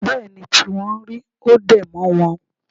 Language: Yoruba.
Bẹ́ẹ̀ ni tí wọ́n rí. Ó dẹ̀ mọ́ wọn